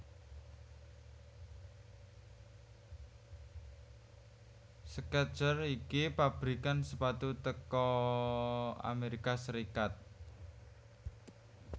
Skechers iki pabrikan sepatu teko Amerika Serikat